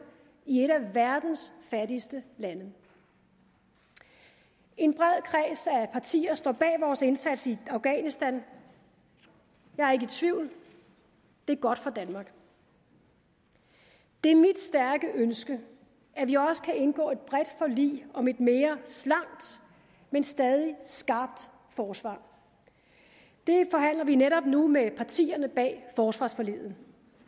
i et af verdens fattigste lande en bred kreds af partier står bag vores indsats i afghanistan jeg er ikke i tvivl det er godt for danmark det er mit stærke ønske at vi også kan indgå et bredt forlig om et mere slankt men stadig skarpt forsvar det forhandler vi netop nu med partierne bag forsvarsforliget